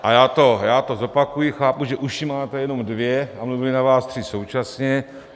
A já to zopakuji, chápu, že uši máte jenom dvě a mluvili na vás tři současně.